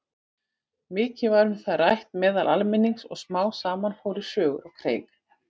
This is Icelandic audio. Mikið var um það rætt meðal almennings og smám saman fóru sögur á kreik.